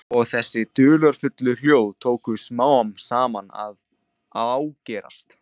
Og þessi dularfullu hljóð tóku smám saman að ágerast.